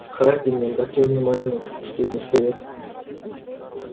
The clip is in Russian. хардин не обратил внимания на этот последний совет